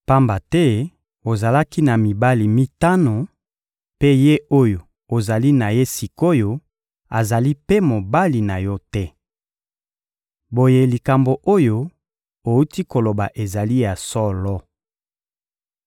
pamba te ozalaki na mibali mitano; mpe ye oyo ozali na ye sik’oyo azali mpe mobali na yo te. Boye likambo oyo owuti koloba ezali ya solo.